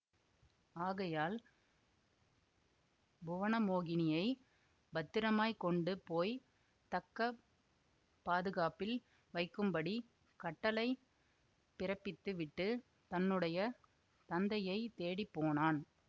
ஆகையால் புவனமோகினியைப் பத்திரமாய்க் கொண்டு போய் தக்க பாதுகாப்பில் வைக்கும்படி கட்டளை பிறப்பித்து விட்டு தன்னுடைய தந்தையை தேடி போனான்